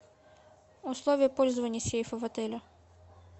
условия пользования сейфа в отеле